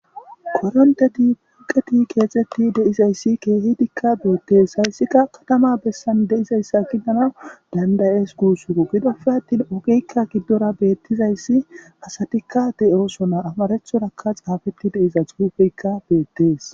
koronte di buqeti keexetti deizayssi keehidikka beettees hayssika katama bessan de7izayssa giddana dandayees guusuo gidofe attin ogikka giddora beettizayssi asatikka de7osona amarethorakka xaafetti deiza xuufeykka beettees